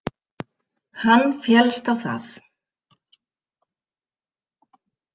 Hann féllst á það.